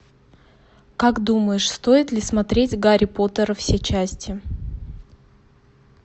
как думаешь стоит ли смотреть гарри поттера все части